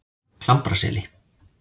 Klambraseli